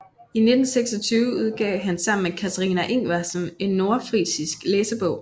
I 1926 udgav han sammen med Katharina Ingwersen en nordfrisisk læsebog